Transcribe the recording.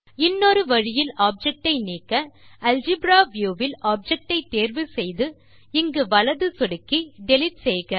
இன்னொரு வழியில் ஆப்ஜெக்ட் ஐ நீக்க அல்ஜெப்ரா வியூ வில் ஆப்ஜெக்ட் ஐ தேர்வு செய்து இங்கு வலது சொடுக்கி டிலீட் செய்க